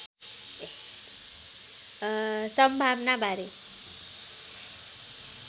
सम्भावना बारे